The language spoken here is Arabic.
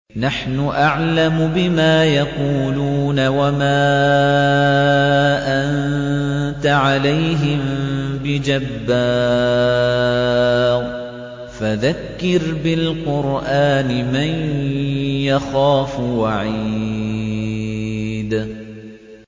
نَّحْنُ أَعْلَمُ بِمَا يَقُولُونَ ۖ وَمَا أَنتَ عَلَيْهِم بِجَبَّارٍ ۖ فَذَكِّرْ بِالْقُرْآنِ مَن يَخَافُ وَعِيدِ